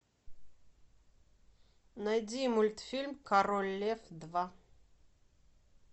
найди мультфильм король лев два